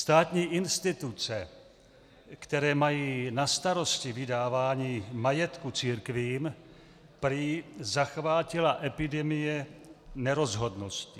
Státní instituce, které mají na starosti vydávání majetku církvím, prý zachvátila epidemie nerozhodnosti.